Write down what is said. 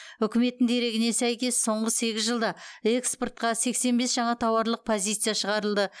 үкіметтің дерегіне сәйкес соңғы сегіз жылда экспортқа сексен бес жаңа тауарлық позиция шығарылды